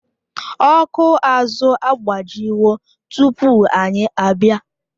Ọkụ azụ agbajiwo tupu anyị abịa